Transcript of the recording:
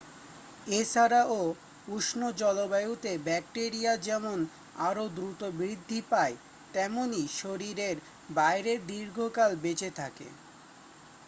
এ ছাড়াও উষ্ণ জলবায়ুতে ব্যাকটেরিয়া যেমন আরও দ্রুত বৃদ্ধি পায় তেমনই শরীরের বাইরে দীর্ঘকাল বেঁচে থাকে